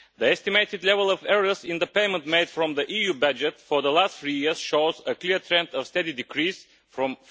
The estimated level of errors in the payments made from the EU budget for the last three years shows a clear trend of steady decrease from